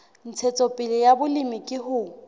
ntshetsopele ya molemi ke ho